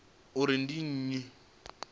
uri ndi nnyi mudivhi wa